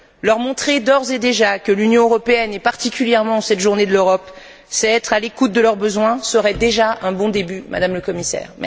Leur montrer d'ores et déjà que l'Union européenne, et particulièrement en cette journée de l'Europe, sait être à l'écoute de leurs besoins, serait déjà un bon début, Madame la Commissaire.